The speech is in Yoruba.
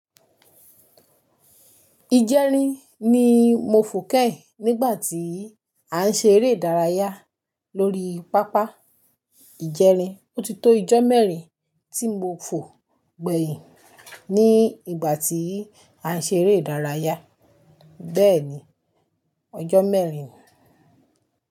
Ijẹrin ni mo fò kẹ́hìn nígbà tí à ń ṣe eré ìdárayá lórí pápá ìjẹrin. Ó ti tó ijọ́ mẹ́rin tí mo fò gbẹ̀yìn ní ìgbà tí à ń ṣe eré ìdárayá. Bẹ́ẹ̀ni, ọjọ́ mẹ́rin.